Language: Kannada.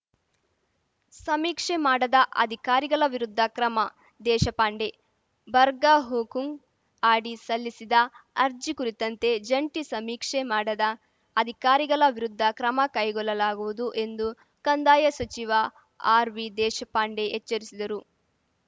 ಸಮೀಕ್ಷೆ ಮಾಡದ ಅಧಿಕಾರಿಗಳ ವಿರುದ್ಧ ಕ್ರಮದೇಶಪಾಂಡೆ ಬರ್ಗಾ ಹುಕುಂ ಅಡಿ ಸಲ್ಲಿಸಿದ ಅರ್ಜಿ ಕುರಿತಂತೆ ಜಂಟಿ ಸಮೀಕ್ಷೆ ಮಾಡದ ಅಧಿಕಾರಿಗಳ ವಿರುದ್ಧ ಕ್ರಮ ಕೈಗೊಲ್ಲಲಾಗುವುದು ಎಂದು ಕಂದಾಯ ಸಚಿವ ಆರ್‌ವಿ ದೇಶಪಾಂಡೆ ಎಚ್ಚರಿಸಿದರು